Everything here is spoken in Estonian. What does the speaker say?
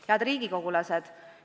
Head riigikogulased!